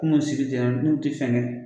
Kunun sigi n'u tɛ fɛ ne